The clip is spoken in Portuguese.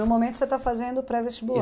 no momento você tá fazendo pré-vestibular.